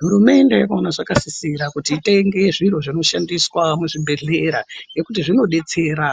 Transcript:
Hurumende yakona zvakasisira kuti itenge zviro zvinoshandiswa muzvibhedhlera nekuti zvinobetsera